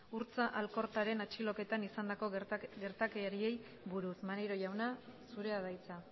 urtza alkortaren atxiloketan izandako gertakariei buruz maneiro jauna zurea da hitza